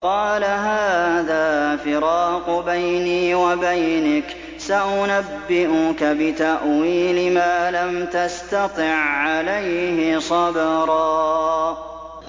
قَالَ هَٰذَا فِرَاقُ بَيْنِي وَبَيْنِكَ ۚ سَأُنَبِّئُكَ بِتَأْوِيلِ مَا لَمْ تَسْتَطِع عَّلَيْهِ صَبْرًا